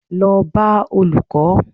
Lọ bá Olùkó!